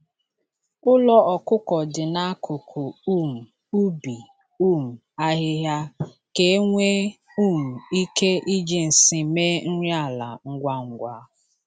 Ụlọ ọkụkọ dị n'akụkụ um ubi um ahịhịa ka e nwee um ike iji nsị mee nri ala ngwa ngwa.